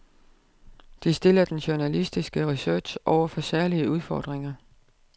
Det stiller den journalistiske research over for særlige udfordringer.